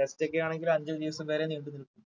test ഒക്കെ ആണെങ്കില് അഞ്ചു ദിവസം വരെ നീണ്ടു നിൽക്കും